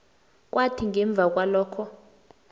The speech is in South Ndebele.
kwathi ngemva kwalokho